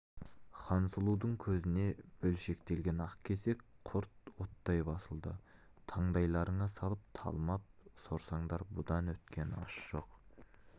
хансұлудың көзіне бөлшектелген ақ кесек құрт оттай басылды таңдайларыңа салып талмап сорсаңдар бұдан өткен ас жоқ